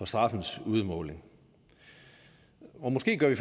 straffens udmåling og måske gør vi